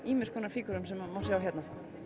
fígúrum sem má sjá hérna